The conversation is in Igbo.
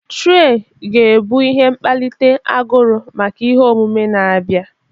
Traị ga-ebu ihe mkpalite aguru maka ihe omume na-abịa.